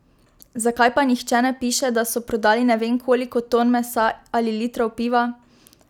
Zakaj pa nihče ne piše, da so prodali ne vem koliko ton mesa ali litrov piva?